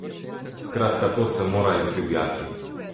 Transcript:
Skratka, to se mora izdivjati.